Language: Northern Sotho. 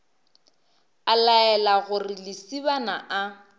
a laela gore lesibana a